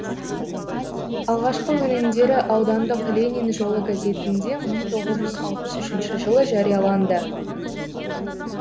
алғашқы өлеңдері аудандық ленин жолы газетінде мың тоғыз жүз алпыс үшінші жылы жарияланды